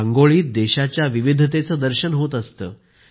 रांगोळीत देशाच्या विविधतेचं दर्शन होत असतं